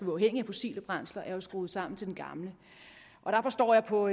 uafhængige af fossile brændsler det er skruet sammen til den gamle der forstår jeg på